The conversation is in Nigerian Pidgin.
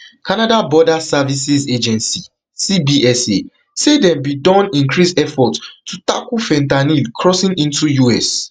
canada border services agency cbsa say dem bin don increase efforts to tackle fentanyl crossing into us